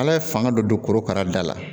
Ala ye fanga dɔ don korokara da la